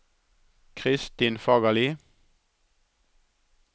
Kristin Fagerli